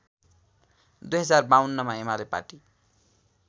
२०५२मा Emale party